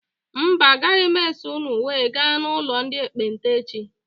Mba agaghị m eso ụnụ wee gaa n' ụlọ ndị ekpenta echi.